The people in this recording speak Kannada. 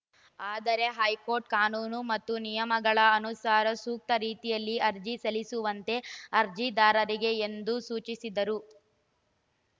ಆದರೆ ಹೈಕೋರ್ಟ್‌ ಕಾನೂನು ಮತ್ತು ನಿಯಮಗಳ ಅನುಸಾರ ಸೂಕ್ತ ರೀತಿಯಲ್ಲಿ ಅರ್ಜಿ ಸಲ್ಲಿಸುವಂತೆ ಅರ್ಜಿದಾರರಿಗೆ ಎಂದು ಸೂಚಿಸಿದರು